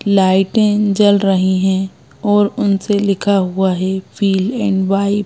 लाइटें जल रही है और उनसे लिखा हुआ है फिल एंड वाइब --